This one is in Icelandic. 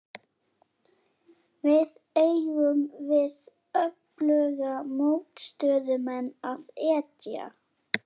Við eigum við öfluga mótstöðumenn að etja.